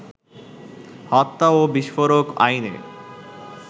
হত্যা ও বিস্ফোরক আইনে